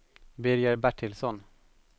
Birger Bertilsson